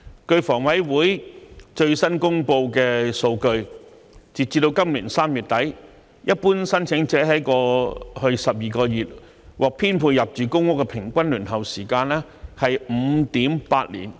據香港房屋委員會最新公布的數據，截至今年3月底，一般申請者在過去12個月獲編配入住公屋的平均輪候時間是 5.8 年，